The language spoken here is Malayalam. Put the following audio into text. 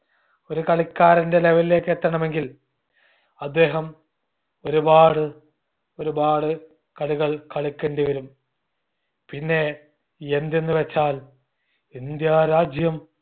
ഒരു കളിക്കാരന്റെ level ലേക്ക് എത്തണമെങ്കിൽ അദ്ദേഹം ഒരു പാട് ഒരുപാട് കളികൾ കളിക്കണ്ടി വരും പിന്നെ എന്തെന്ന് വച്ചാൽ ഇന്ത്യ രാജ്യം